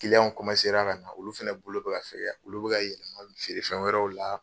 Kiliyan ka na olu fɛnɛ bolo bɛ ka fɛgɛya olu bɛ ka yɛlɛma feere fɛn wɛrɛw la.